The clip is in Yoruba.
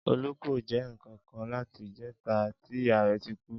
Olú kò jé nnkankan láti ìjéta tí ìyá rè tí kú